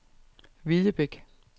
Hvidebæk